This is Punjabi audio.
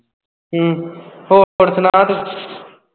ਹਮ ਹੋਰ ਸੁਣਾ ਤੂੰ?